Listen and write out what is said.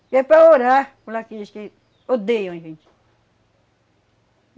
E é para orar por aqueles que odeiam a gente.